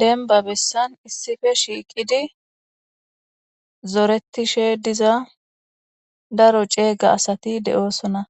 denba bessan issife shiiqidi zoretishe diza daro ceega asati de'oosona